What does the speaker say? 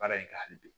Baara in ka hali bi